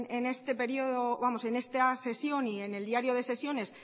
en esta sesión y en el diario de sesiones